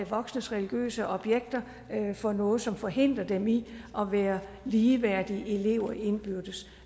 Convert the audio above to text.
voksnes religiøse objekter for noget som forhindrer dem i at være ligeværdige elever indbyrdes